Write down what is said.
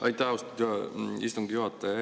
Aitäh, austatud istungi juhataja!